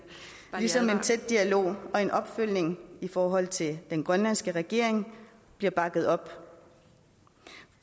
ligesom en tæt dialog og en opfølgning i forhold til den grønlandske regering bliver bakket op